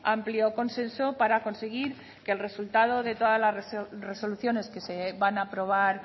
amplio consenso para conseguir que el resultado de todas las resoluciones que se van a aprobar